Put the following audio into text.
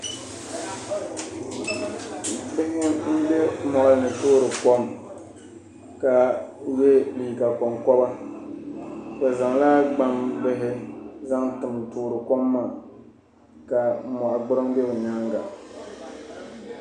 Bihi ayi n toori kom ka yɛ liiga konkoba bi zaŋla gbambihi tim n toori kom maa ka moɣa gburiŋ do bi nyaanga